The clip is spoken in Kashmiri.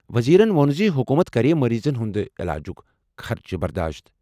وزیرَن ووٚن زِ حکوٗمت کَرِ مٔریٖضَن ہِنٛدِ علاجُک خرچہٕ۔